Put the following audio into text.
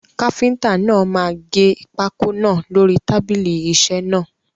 Káfíntà náà máa gẹ pákó náà lórí tábìlì isẹ́ náà.